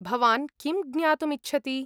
भवान् किं ज्ञातुम् इच्छति?